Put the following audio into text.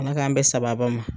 Ala k'an bɛn sababa ma.